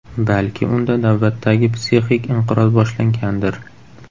Balki unda navbatdagi psixik-inqiroz boshlangandir?